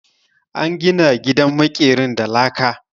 An gina gidan maƙerin da laka.